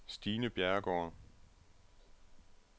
Stine Bjerregaard